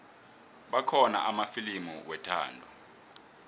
kukhona amafilimu wethando